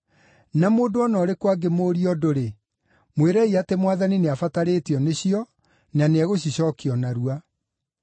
Na mũndũ o na ũrĩkũ angĩmũũria ũndũ-rĩ, mwĩrei atĩ Mwathani nĩabatarĩtio nĩcio, na nĩegũcicookia o narua.”